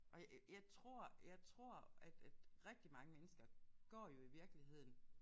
Og jeg jeg tror jeg tror at at rigtig mange mennesker går jo i virkeligheden